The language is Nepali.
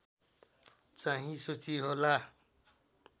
चाहिँ सूची होला